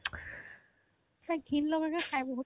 তাই ঘিণ লগাকে খাই বহুত